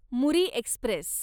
Muri Express